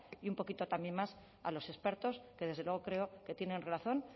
y un poquito también más a los expertos que desde luego creo que tienen razón